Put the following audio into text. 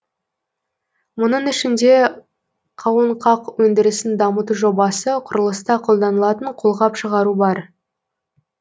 мұның ішінде қауынқақ өндірісін дамыту жобасы құрылыста қолданылатын қолғап шығару бар